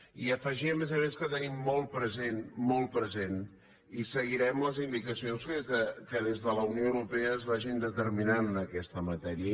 i afegim a més a més que tenim molt present molt present i seguirem les indicacions que des de la unió europea es vagin determinant en aquesta matèria